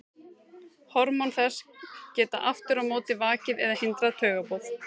Hormón þess geta aftur á móti vakið eða hindrað taugaboð.